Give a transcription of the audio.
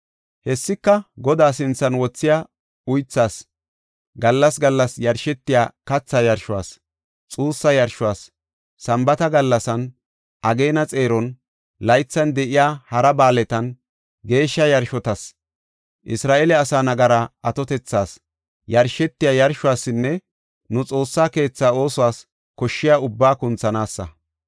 Hessika, Godaa sinthan wothiya uythaas, gallas gallas yarshetiya katha yarshuwas, xuussa yarshuwas, Sambaata gallasan, ageena xeeron, laythan de7iya hara ba7aaletan, geeshsha yarshotas, Isra7eele asa nagaraa atotethas yarshetiya yarshuwasinne nu Xoossa keetha oosuwas koshshiya ubbaa kunthanaasa.